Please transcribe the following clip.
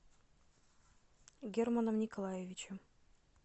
германом николаевичем